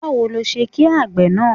Báwo ni o ṣe ki àgbè náà?